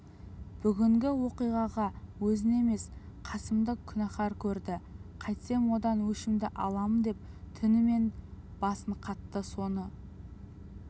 бүгінгі оқиғаға өзін емес қасымды күнәкар көрді қайтсем одан өшімді алам деп түнімен басы қатты соны